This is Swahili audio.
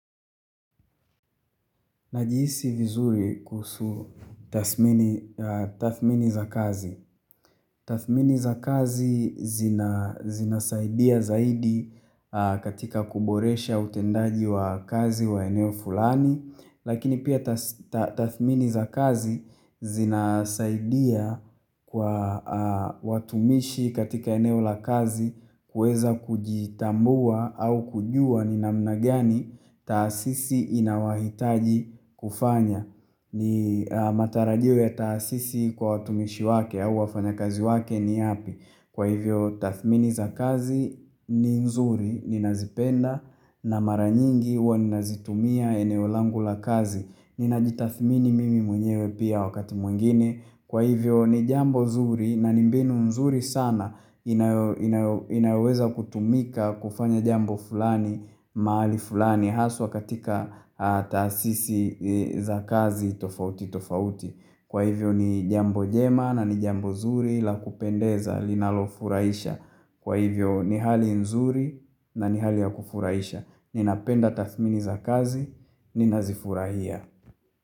Najihisi vizuri kuhusu tathmini za kazi. Tathmini za kazi zina zinasaidia zaidi katika kuboresha utendaji wa kazi wa eneo fulani. Lakini pia tathmini za kazi zinasaidia kwa watumishi katika eneo la kazi kuweza kujitambua au kujua ni namna gani taasisi inawahitaji kufanya. Ni matarajio ya taasisi kwa watumishi wake au wafanya kazi wake ni yapi. Kwa hivyo tathmini za kazi ni nzuri ninazipenda na mara nyingi huwa ninazitumia eneo langu la kazi Ninajitathmini mimi mwenyewe pia wakati mwingine Kwa hivyo ni jambo zuri na ni mbinu mzuri sana inaweza kutumika kufanya jambo fulani mahali fulani haswa katika taasisi za kazi tofauti tofauti Kwa hivyo ni jambo jema na ni jambo zuri la kupendeza linalofurahisha. Kwa hivyo ni hali nzuri na ni hali ya kufurahisha Ninapenda tathmini za kazi, ninazifurahia.